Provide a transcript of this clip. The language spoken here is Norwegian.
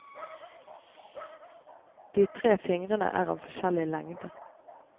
De tre fingrene er av forskjellig lengde.